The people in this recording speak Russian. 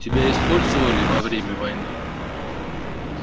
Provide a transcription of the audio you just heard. тебя использовали во время войны